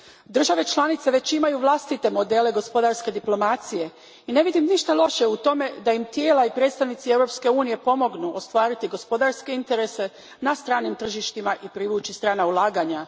Države članice već imaju vlastite modele gospodarske diplomacije i ne vidim ništa loše u tome da im tijela i predstavnici Europske unije pomognu ostvariti gospodarske interese na stranim tržištima i privući strana ulaganja.